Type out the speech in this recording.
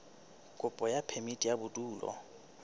kopo ya phemiti ya bodulo